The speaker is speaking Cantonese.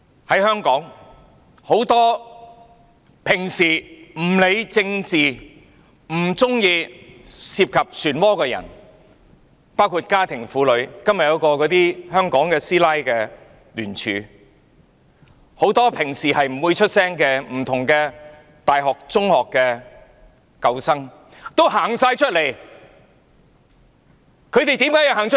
在香港，很多平常不理政治、不喜歡涉及漩渦的人，包括家庭婦女——今天便有一個"香港師奶"的聯署——很多平常不會發聲，來自不同大學、中學的舊生也走出來，他們為何要走出來？